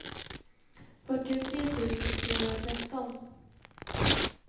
fyrtiotre tusen trehundratretton